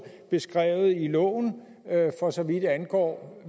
beskrevet i loven for så vidt angår